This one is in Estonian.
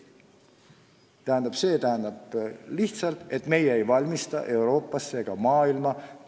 Ja see tähendab, et me ei valmista ette tööjõudu tervele Euroopale ega maailmale.